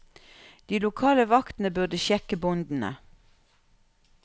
De lokale vaktene burde sjekke båndene.